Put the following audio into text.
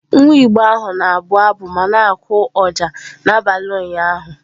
Nwa Igbo ahụ na-abụ abụ ma na-akụ ọjà n'abalị ụnyahụ.